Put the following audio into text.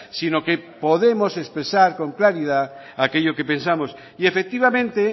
sino que podemos expresar con claridad aquello que pensamos y efectivamente